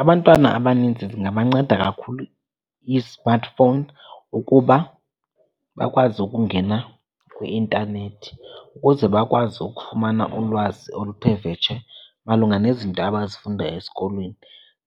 Abantwana abanintsi zingabanceda kakhulu ii-smartphone ukuba bakwazi ukungena kwi-intanethi ukuze bakwazi ukufumana ulwazi oluthe vetshe malunga nezinto abazifundayo esikolweni.